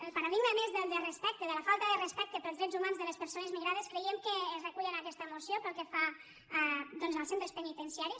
el paradigma a més de la falta de respecte pels drets humans de les persones migrades creiem que es recull en aquesta moció pel que fa als centres penitenciaris